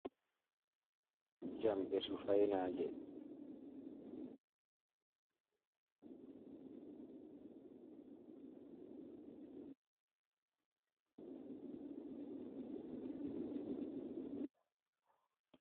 Jamɗe su fayenaaje.